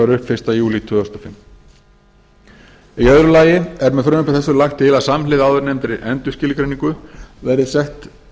upp fyrsta júlí tvö þúsund og fimm í öðru lagi er með frumvarpi þessu lagt til að samhliða áðurnefndri endurskilgreiningu verði sett